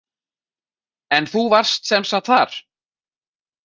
En þú varst sem sagt þar?